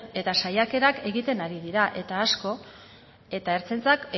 eta saiakerak egiten ari dira eta asko eta ertzaintzak